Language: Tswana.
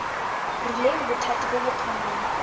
rileng bothati bo bo kgonang